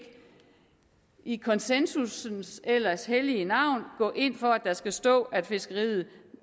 i konsensussens ellers hellige navn gå ind for at der skal stå at fiskeriet